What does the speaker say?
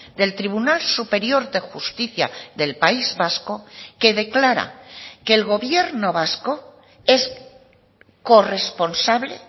del tribunal superior de justicia del país vasco que declara que el gobierno vasco es corresponsable